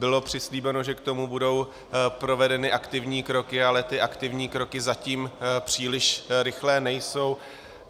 Bylo přislíbeno, že k tomu budou provedeny aktivní kroky, ale ty aktivní kroky zatím příliš rychlé nejsou.